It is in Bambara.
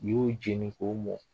N'i y'o jeni k'o mɔ